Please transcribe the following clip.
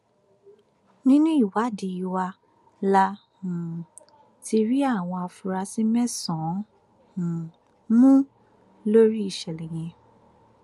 nínú ìwádìí wa la um ti rí àwọn afurasí mẹsànán um mú lórí ìṣẹlẹ yẹn